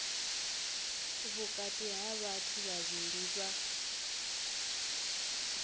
vhukati ha vhathu vhavhili vha